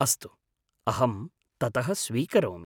अस्तु, अहं ततः स्वीकरोमि।